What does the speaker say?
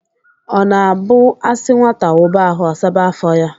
O na-abu a si nwata wuba ahu, o saba afo ya.